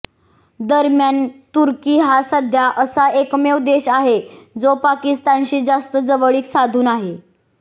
दरम्यान तुर्की हा सध्या असा एकमेव देश आहे जो पाकिस्तानशी जास्त जवळीक साधून आहे